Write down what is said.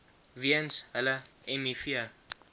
weens hulle miv